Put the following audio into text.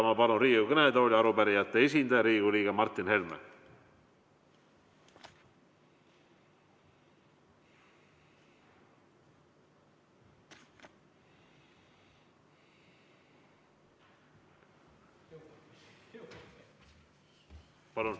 Ma palun Riigikogu kõnetooli arupärijate esindaja Riigikogu liikme Martin Helme!